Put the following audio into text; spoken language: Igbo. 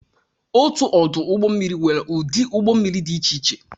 Otu ọdụ ụgbọ mmiri nwere ụdị ụgbọ mmiri dị iche iche